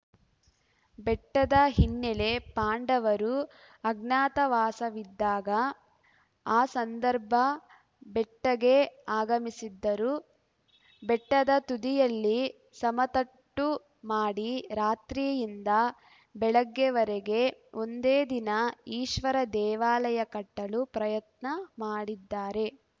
ಬೆಟ್ಟದ ಹಿನ್ನೆಲೆ ಪಾಂಡವರು ಅಜ್ಞಾತವಾಸವಿದ್ದಾಗ ಆ ಸಂದರ್ಭ ಬೆಟ್ಟಗೆ ಆಗಮಿಸಿದ್ದರು ಬೆಟ್ಟದ ತುದಿಯಲ್ಲಿ ಸಮತಟ್ಟು ಮಾಡಿ ರಾತ್ರಿಯಿಂದ ಬೆಳಗ್ಗೆವರೆಗೆ ಒಂದೇ ದಿನ ಈಶ್ವರ ದೇವಾಲಯ ಕಟ್ಟಲು ಪ್ರಯತ್ನ ಮಾಡಿದ್ದಾರೆ